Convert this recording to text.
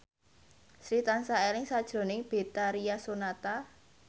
Sri tansah eling sakjroning Betharia Sonata